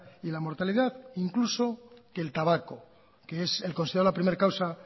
y la mortalidad incluso que el tabaco que es el considerado la primer causa